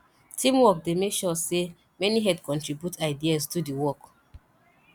teamwork dey make sure say many head contribute ideas do the work